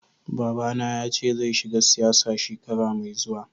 Baba ba na ya ce zai shiga siyasa shekara mai zuwa.